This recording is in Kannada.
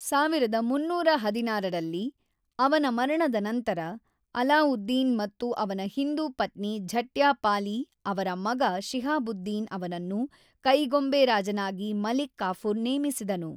೧೩೧೬ ರಲ್ಲಿ ಅವನ ಮರಣದ ನಂತರ, ಅಲಾವುದ್ದೀನ್ ಮತ್ತು ಅವನ ಹಿಂದೂ ಪತ್ನಿ ಝಟ್ಯಾಪಾಲಿ ಅವರ ಮಗ ಶಿಹಾಬುದ್ದೀನ್ ಅವನನ್ನು ಕೈಗೊಂಬೆ ರಾಜನಾಗಿ ಮಲಿಕ್ ಕಾಫುರ್ ನೇಮಿಸಿದನು.